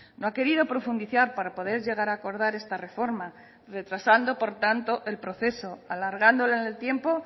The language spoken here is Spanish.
no ha querido profundizar para poder llegar a acordar esta reforma retrasando por tanto el proceso alargándola en el tiempo